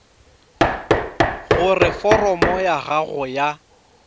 gore foromo ya gago ya